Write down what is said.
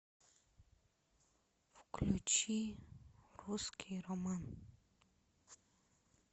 включи русский роман